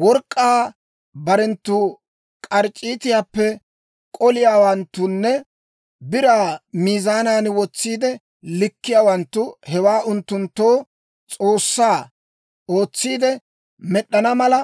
Work'k'aa barenttu k'arc'c'iitaappe k'oliyaawanttunne biraa miizaanan wotsiide likkiyaawanttu hewaa unttunttoo s'oossaa ootsiide med'd'ana mala,